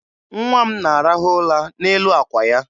Nwa m na-arahụ ụra n'elu àkwà ya.